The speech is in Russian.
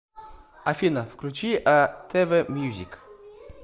афина включи а тэ вэ мьюзик